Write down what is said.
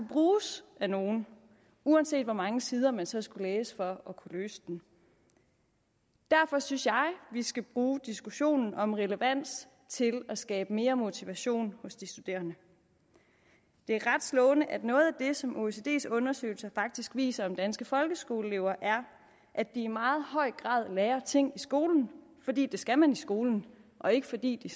bruges af nogen uanset hvor mange sider man så skulle læse for at kunne løse den derfor synes jeg vi skal bruge diskussionen om relevans til at skabe mere motivation hos de studerende det er ret slående at noget af det som oecds undersøgelse faktisk viser om danske folkeskoleelever er at de i meget høj grad lærer ting i skolen fordi det skal man i skolen og ikke fordi de